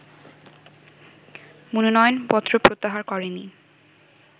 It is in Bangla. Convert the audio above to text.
মনোনয়নপত্র প্রত্যাহার করেনি